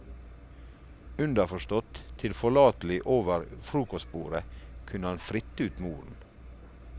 Underforstått, tilforlatelig over frokostbordet, kunne han fritte ut moren.